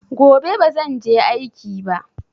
Gobe bazan je aiki ba.